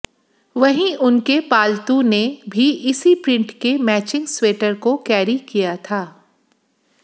वहीं उनके पालतू ने भी इसी प्रिंट के मैचिंग स्वेटर को कैरी किया था